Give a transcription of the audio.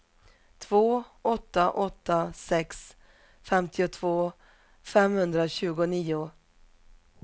två åtta åtta sex femtiotvå femhundratjugonio